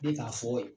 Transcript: Ne k'a fɔ